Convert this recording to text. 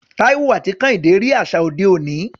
Taiwo àti Kehinde rí àṣà òde òní.